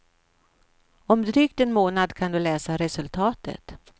Om drygt en månad kan du läsa resultatet.